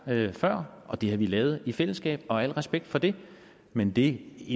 før og det har vi lavet i fællesskab og al respekt for det men det